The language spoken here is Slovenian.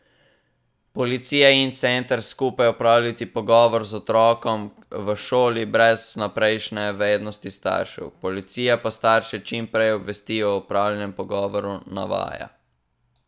Policija in center skupaj opravita pogovor z otrokom v šoli brez vnaprejšnje vednosti staršev, policija pa starše čim prej obvesti o opravljenem pogovoru, navaja.